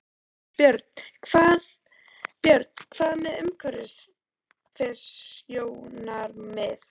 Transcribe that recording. Björn: Hvað með umhverfissjónarmið?